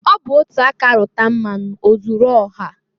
Ọ bụ otu aka rụta mmanụ ozuru ọha.